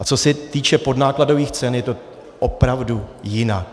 A co se týče podnákladových cen, je to opravdu jinak.